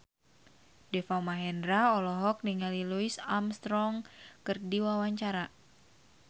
Deva Mahendra olohok ningali Louis Armstrong keur diwawancara